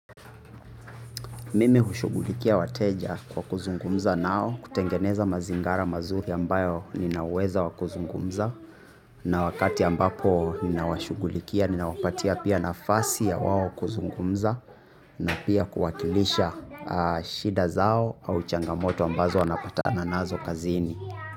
Mimi hushughulikia wateja kwa kuzungumza nao kutengeneza mazingara mazuri ambayo ninaweza wa kuzungumza. Na wakati ambapo ninawashugulikia ninawapatia pia nafasi ya wao kuzungumza. Na pia kuwakilisha shida zao au changamoto ambazo wanapatana nazo kazini.